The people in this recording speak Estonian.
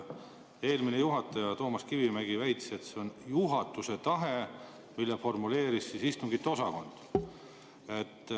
Eelmine juhataja Toomas Kivimägi väitis, et see on juhatuse tahe, mille formuleeris istungiosakond.